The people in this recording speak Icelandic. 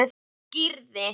Þá skýrði